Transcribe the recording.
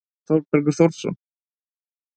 Þorbergur Þórsson.